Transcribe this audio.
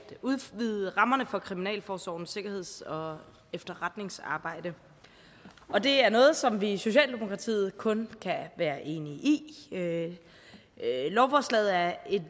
udvide rammerne for kriminalforsorgens sikkerheds og efterretningsarbejde og det er noget som vi i socialdemokratiet kun kan være enige i lovforslaget er et